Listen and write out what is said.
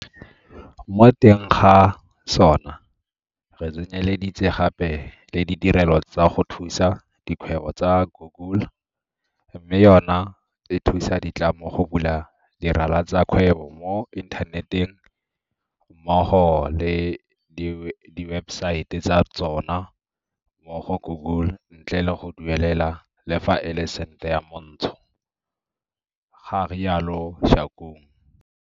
Mo teng ga sona re tsenyeleditse gape le ditirelo tsa go thusa dikgwebo tsa Google, mme yona e thusa ditlamo go bula dirala tsa kgwebo mo inthaneteng mmogo le diwebesaete tsa tsona mo go Google ntle le go duelela le fa e le sente yo montsho, ga rialo Shakung.